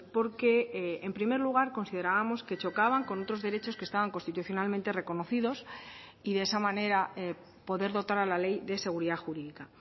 porque en primer lugar considerábamos que chocaban con otros derechos que estaban constitucionalmente reconocidos y de esa manera poder dotar a la ley de seguridad jurídica